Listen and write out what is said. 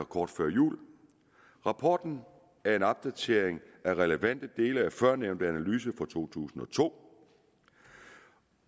kort før jul rapporten er en opdatering af relevante dele af førnævnte analyse fra to tusind og to